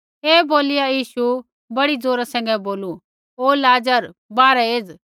ऐ बोलिया यीशुऐ बड़ी ज़ोरा सैंघै बोलू ओ लाज़र बाहरै एज़